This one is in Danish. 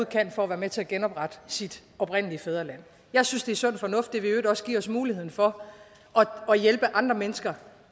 kan for at være med til at genoprette sit oprindelige fædreland jeg synes det er sund fornuft i øvrigt også give os muligheden for at hjælpe andre mennesker